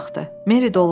Meri doluqsundu.